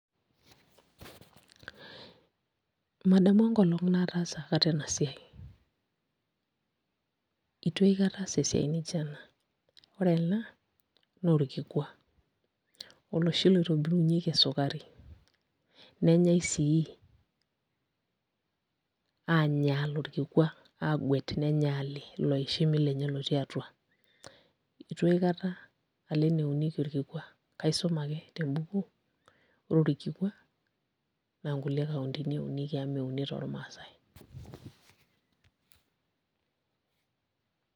Madamu enkolong' nataasa aikata ena siai, itu aikata aas esiai nijio ena ore ena naa orkikua oloshi oitobirunyieki esukari nenyai sii aanyaal orkikua aaguet nenyaali ilo oishimi lenye lotii atua itu aikata alo eneunieki orkikua kaisuma ake tembuku, ore orkikua naa kulie kauntini eunikeki amu meuni tormaasai.